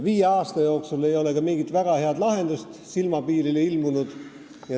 Viie aasta jooksul ei ole ka mingit väga head lahendust silmapiirile ilmunud.